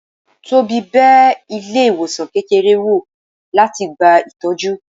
Tobi bẹ ilé ìwòsan kékeré wọ́, latí gbá ìtọjú